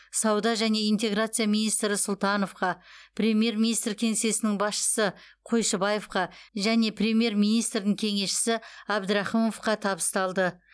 сауда және интеграция министрі сұлтановқа премьер министр кеңсесінің басшысы қойшыбаевқа және премьер министрдің кеңесшісі әбдірахымовқа табысталды